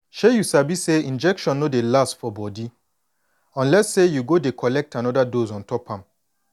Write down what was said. shay you sabi say injection no dey last for body unless say you go dey collect anoda dose ontop am